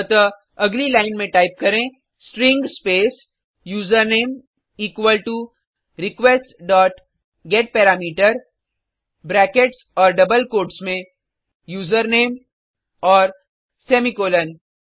अतः अगली लाइन में टाइप करें string space username equal to request dot get parameter brackets और डबल कोट्स में यूजरनेम और सेमीकोलन